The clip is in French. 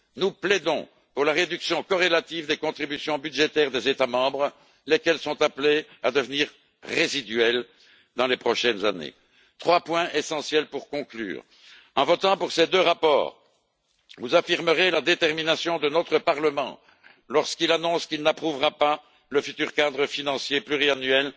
Nous plaidons pour la réduction corrélative des contributions budgétaires des États membres, lesquels sont appelées à devenir résiduelles dans les prochaines années. Trois points essentiels pour conclure en votant pour ces deux rapports, vous affirmerez la détermination de notre Parlement, lorsqu'il annonce qu'il n'approuvera pas le futur cadre financier pluriannuel